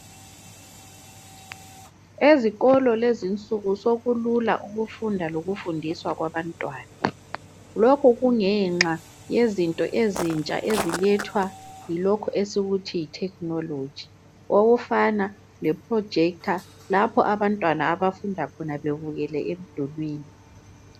ezikolo kulezinsuku sokulula ukufunda lokufundiswa kwabantwana lokho kulethwa yinto esiyibiza sisithi yithekhinoloji okufana leprojector lapha abantwana abafunda khona bebukele emdulwini.